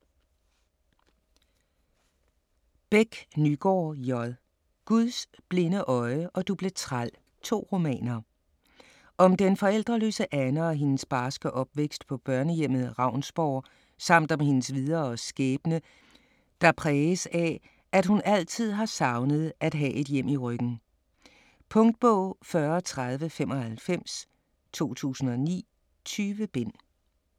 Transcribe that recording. Bech Nygaard, J.: Guds blinde øje og Du blev træl: to romaner Om den forældreløse Anne og hendes barske opvækst på børnehjemmet Ravnsborg, samt om hendes videre skæbne, der præges af, at hun altid har savnet at have et hjem i ryggen. Punktbog 403095 2009. 20 bind.